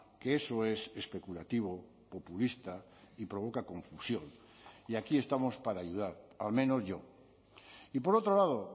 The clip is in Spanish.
que eso es especulativo populista y provoca confusión y aquí estamos para ayudar al menos yo y por otro lado